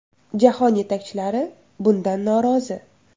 Jahon yetakchilari bundan norozi.